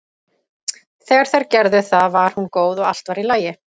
Þegar þær gerðu það var hún góð og allt var í lagi.